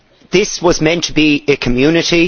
This was meant to be a community